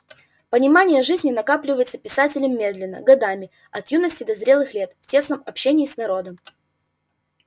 понимание жизни накапливается писателем медленно годами от юности до зрелых лет в тесном общении с народом